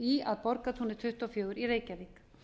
í að borgartúni tuttugu og fjögur í reykjavík